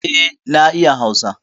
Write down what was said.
Eh, na iya hausa